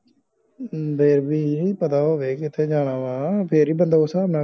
ਵੇਖਲੀ ਪਤਾ ਹੋਵੇ ਕਿਥੇ ਜਾਣਾ ਅਵ ਫੇਰ ਏ ਬੰਦਾ ਉਸ ਸਾਬ ਨਾਲ